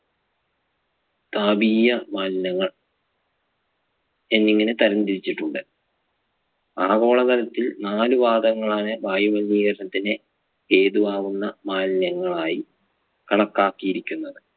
താപിയ മാലിന്യങ്ങൾ എന്നിങ്ങനെ തരം തിരിച്ചിട്ടുണ്ട്. ആഗോളതലത്തിൽ നാലു വാതകങ്ങളാണ് വായു മലിനീകരണത്തിന് ഹേതു ആകുന്ന മാലിന്യങ്ങളായി കണക്കാക്കിയിരിക്കുന്നത്.